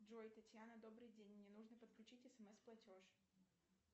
джой татьяна добрый день мне нужно подключить смс платеж